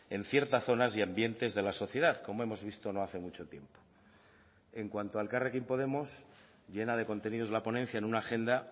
en ciertas zonas y ambientes de la sociedad como hemos visto no hace mucho tiempo en cuanto a elkarrekin podemos llena de contenidos la ponencia en una agenda